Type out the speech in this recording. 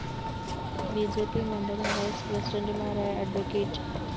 B J P മണ്ഡലം vice പ്രസിഡന്റുമാരായ അഡ്വ